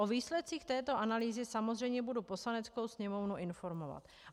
O výsledcích této analýzy samozřejmě budu Poslaneckou sněmovnu informovat.